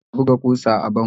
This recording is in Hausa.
Amir na buga kusa a bango